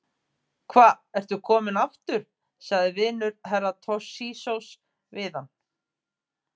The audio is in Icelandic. Hva ertu kominn aftur, sagði vinur Herra Toshizoz við hann.